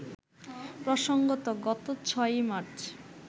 প্রসঙ্গত, গত ৬ মার্চ